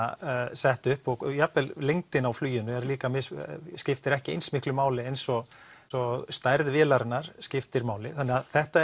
sett upp jafnvel lengdin á fluginu er líka skiptir ekki eins miklu máli eins og stærð vélarinnar skiptir máli þannig að þetta